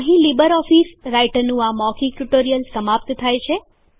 અહીં લીબરેઓફીસ રાઈટરનું મૌખિક ટ્યુટોરીયલ સમાપ્ત થાય છે